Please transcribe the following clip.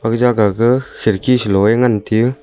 eja ga ke khirki selo wai ngan teyo.